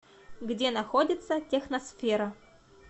где находится техносфера